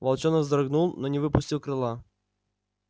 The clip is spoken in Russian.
волчонок вздрогнул но не выпустил крыла